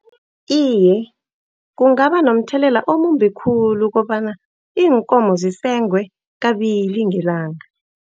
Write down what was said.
Iye, kungaba nomthelela omumbi khulu kobana iinkomo zisengwe kabili ngelanga.